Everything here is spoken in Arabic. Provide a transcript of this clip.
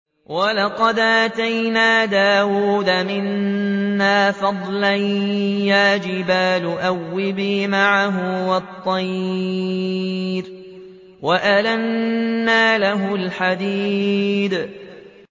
۞ وَلَقَدْ آتَيْنَا دَاوُودَ مِنَّا فَضْلًا ۖ يَا جِبَالُ أَوِّبِي مَعَهُ وَالطَّيْرَ ۖ وَأَلَنَّا لَهُ الْحَدِيدَ